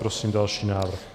Prosím další návrh.